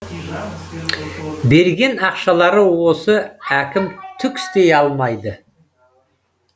берген ақшалары осы әкім түк істей алмайды